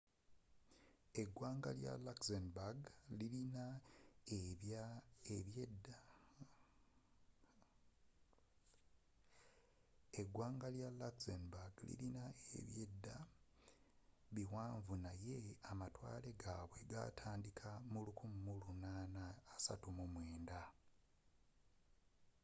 eggwanga lya luxembourg lilina ebyedda biwanvu naye amatwale gaabwe g'ataandiika mu 1839